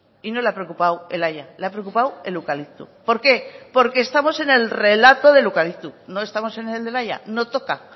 y no le ha preocupado el haya le ha preocupado el eucalipto por qué porque estamos en el relato del eucalipto no estamos en el del haya no toca